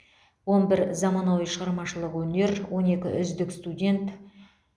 он бір заманауи шығармашылық өнер он екі үздік студент